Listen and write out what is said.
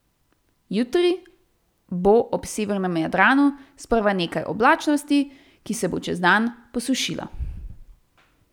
Jutri bo ob severnem Jadranu sprva nekaj oblačnosti, ki se bo čez dan posušila.